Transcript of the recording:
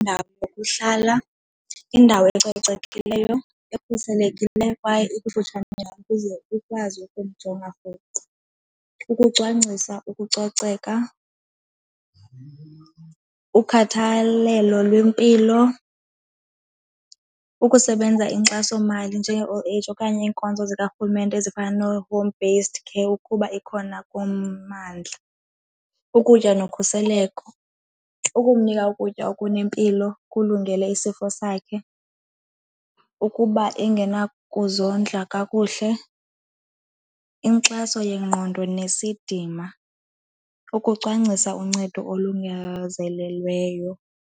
Indawo yokuhlala, indawo ecocekileyo, ekhuselekileyo kwaye ekufutshane ukuze ukwazi ukumjonga rhoqo. Ukucwangcisa ukucoceka, ukhathalelo lwempilo, ukusebenza inkxasomali njenge-old age okanye iinkonzo zikarhulumente ezifana noo-home based care ukuba ikhona kummandla, ukutya nokhuseleko, ukumnika ukutya okunempilo kulungele isifo sakhe ukuba engenakuzondla kakuhle, inkxaso yengqondo nesidima, ukucwangcisa uncedo olungazelweleyo.